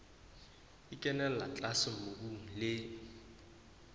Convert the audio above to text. e kenella tlase mobung le